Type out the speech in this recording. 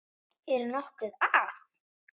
Er nokkuð að?